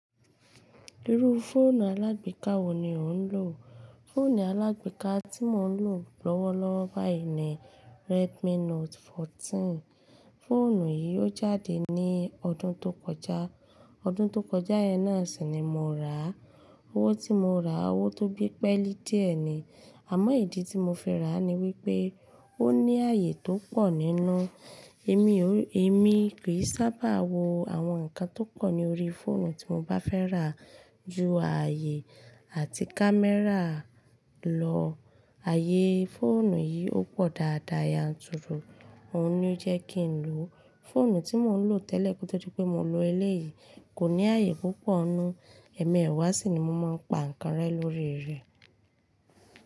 Irú fóònù alágbèéká wo ni ò ń lò? Fóònù alágbèéká tí mò ń lò lọ́wọ́lọ́wọ́ báyìí ni Redmi Note 14. Fóònù yìí ó jáde ní ọdún tó kọjá. Ọdún tó kọjá náà sì ni mo rà á. Owó tí mo rà á, owó tó gbé pẹ́lí díẹ̀ ni. Àmọ́ ìdí tí mo fi rà á ni wípé ó ní ààyè tó pọ̀ nínú. Èmi ò, èmi kì í sábà wo àwọn nǹkan tó pọ̀ ní orí fóònù tí mo bá fẹ́ rà á ju ààyè àti kámẹ́rà lọ. Ààyè fóònù yìí ó pọ̀ dáadáa, yá n turu, òun ni ó jẹ́ kí n lò ó. Fóònù tí mò ń lò tẹ́lẹ̀ kó tó di pé mò ń lo eléyìí kò ní ààyè púpọ̀ nínú, ẹ̀ẹ̀mẹ́wàá sì ni mo máa ń pa nǹkan rẹ lórí rẹ̀.